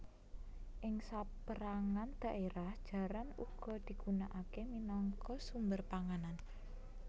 Ing sapérangan dhaérah jaran uga digunaaké minangka sumber panganan